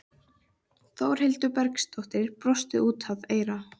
Þórhildur Bergsdóttir brosti út að eyrum.